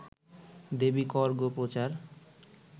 দেবি কর গো প্রচার